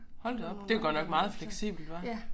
Hold da op det var godt nok meget fleksibelt hva